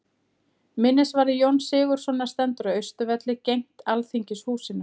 Minnisvarði Jóns Sigurðssonar stendur á Austurvelli, gegnt Alþingishúsinu.